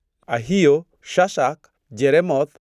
Ahio, Shashak, Jeremoth,